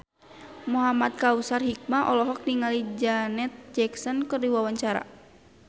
Muhamad Kautsar Hikmat olohok ningali Janet Jackson keur diwawancara